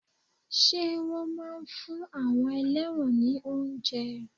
Ṣé wọn máa ń fún àwọn ẹlẹ́wọ̀n ni oúnjẹ?